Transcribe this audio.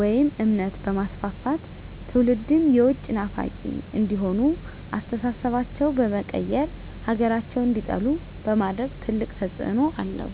ወይም እምነት በማስፋፋት ትውልድም የውጭ ናፋቂ እንዲሆኑ አስተሳሰባቸው በመቀየር ሀገራቸውን እንዲጠሉ በማድረግ ትልቅ ተፅዕኖ አለው።